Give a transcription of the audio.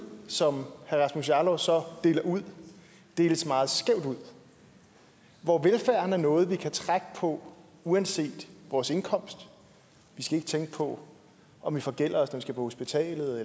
som herre rasmus jarlov så deler ud deles meget skævt ud hvor velfærd er noget vi kan trække på uanset vores indkomst vi skal ikke tænke på om vi forgælder os når vi skal på hospitalet